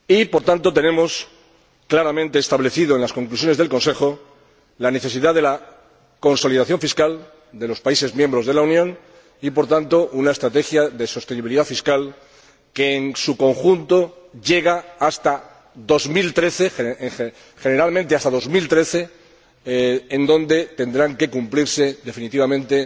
Por tanto, tenemos claramente establecida en las conclusiones del Consejo la necesidad la consolidación fiscal de los países miembros de la Unión y, en consecuencia, una estrategia de sostenibilidad fiscal que, en su conjunto, llega hasta 2013, generalmente hasta 2013, cuando tendrán que cumplirse definitivamente